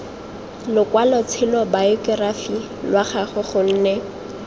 lokwalotshelo bayokerafi lwa gagwe gonne